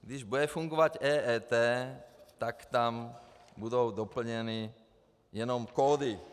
Když bude fungovat EET, tak tam budou doplněny jenom kódy.